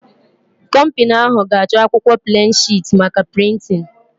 Kọmpini ahụ ga-achọ akwụkwọ pleen shịt maka prịntịn